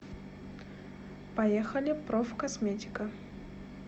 поехали профкосметика